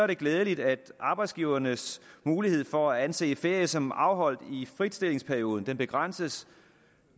det glædeligt at arbejdsgivernes mulighed for at anse ferie som afholdt i fritstillingsperioden begrænses